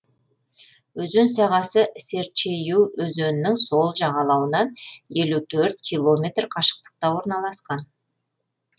өзен сағасы серчейю өзенінің сол жағалауынан елу төрт километр қашықтықта орналасқан